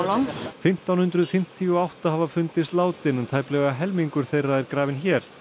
fimmtán hundruð fimmtíu og átta hafa fundist látin en tæplega helmingur þeirra er grafinn hér